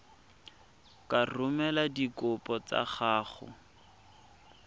ka romela dikopo tsa gago